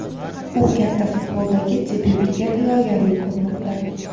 u katta futboldagi debyutiga tayyorgarlik ko‘rmoqda.